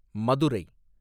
Madurai